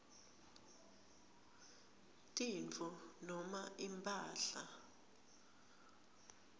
tintfo noma imphahla